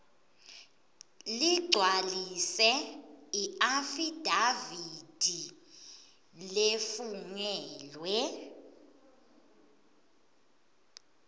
ligcwalise iafidavithi lefungelwe